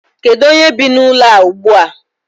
Kedu onye bi n'ụlọ a ugbu a?